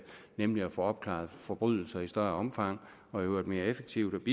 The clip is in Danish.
nemlig at få opklaret forbrydelser i større omfang og i øvrigt mere effektivt